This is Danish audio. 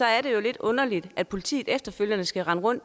er jo lidt underligt at politiet efterfølgende skal rende rundt